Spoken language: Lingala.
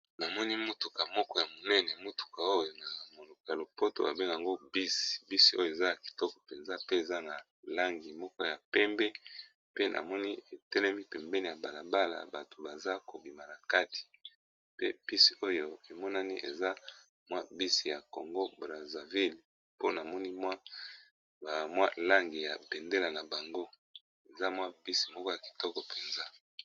Namoni mutuka moko ya monene mutuka oyo na monoko ya lopoto babengaka yango bisi, bisi oyo eza ya kitoko mpenza pe eza na langi moko ya pembe, pe na moni etelemi pembeni ya balabala bato baza kobima na kati, pe bisi oyo emonani eza mwa bisi ya congo brazaville mpona moni mwa bamwa langi ya bendela na bango eza mwa bisi moko ya kitoko mpenza.